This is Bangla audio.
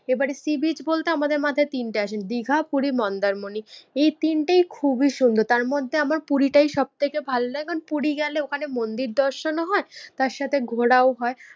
এবারে sea beach বলতে আমাদের মাথায় তিনটে আসে দিঘা, পুরী, মন্দারমণি। এই তিনটেই খুব সুন্দর, তার মধ্যে আমার পুরী টাই সব থেকে ভালো লাগে, কারণ পুরী গেলে ওখানে মন্দির দর্শন ও হয় তার সাথে ঘোরাও হয়।